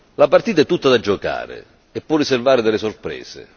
La partita è tutta da giocare e può riservare delle sorprese.